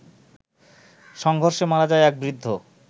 সংঘর্ষে মারা যায় এক বৃদ্ধ